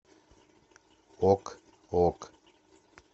ок ок